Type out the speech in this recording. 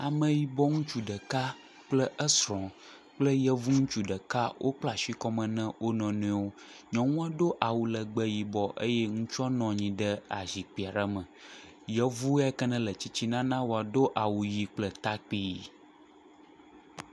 Ameyibɔ ŋutsu ɖeka kple esrɔ̃ kple yevu ŋutsu ɖeka wokpla asi kɔme na wo nɔnɔewo. nyɔnua do awulegbe yibɔ eye ŋutsua nɔ anyi ɖe azikpui aɖe me. Yevu yia ke ne le tsitsina na woa do awu ʋi kple takpi.